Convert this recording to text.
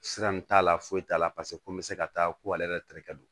Sira in t'a la foyi t'a la paseke ko n bɛ se ka taa ko ale yɛrɛ terikɛ don